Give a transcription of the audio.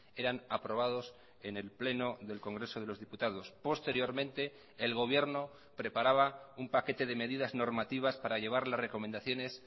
eran aprobados en el pleno del congreso de los diputados posteriormente el gobierno preparaba un paquete de medidas normativas para llevar las recomendaciones